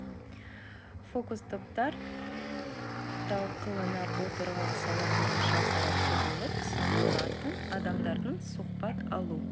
фокус топтар талқыланып отырған сала бойынша сарапшы болып саналатын адамдардан сұхбат алу